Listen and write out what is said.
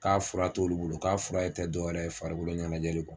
K'a fura t'olu bolo k'a fura tɛ dɔwɛrɛ farikolo ɲɛnajɛli kɔ